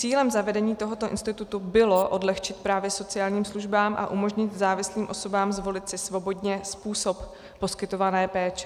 Cílem zavedení tohoto institutu bylo odlehčit právě sociálním službám a umožnit závislým osobám zvolit si svobodně způsob poskytované péče.